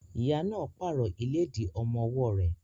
Ìyá náà pààrọ̀ ìlédìí ọmọ ọwọ́ rẹ̀.